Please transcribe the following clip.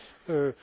crises.